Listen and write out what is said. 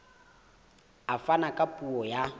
a fana ka puo ya